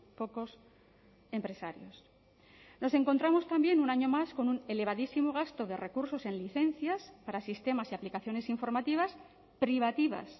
pocos empresarios nos encontramos también un año más con un elevadísimo gasto de recursos en licencias para sistemas y aplicaciones informativas privativas